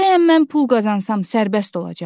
Bəyəm mən pul qazansam sərbəst olacam?